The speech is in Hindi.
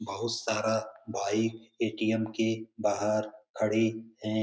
बहुत सारा भाई ए.टी.एम्. के बाहर खड़े है ।